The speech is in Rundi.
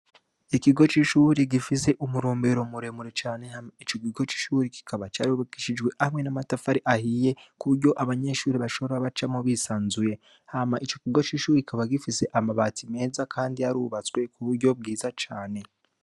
Ikigo c'ishure gifise uburumbero burebure cane; icokigo c'ishure kikaba carubakishijwe n'amatafari ahiye kugiranga abanyeshure bajemwo batunganye. Hama icokiga c'ishure kikaba gifise amabati meza cane kandi arubatswe m'uburyo bwiza cane.